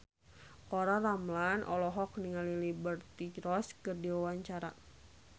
Olla Ramlan olohok ningali Liberty Ross keur diwawancara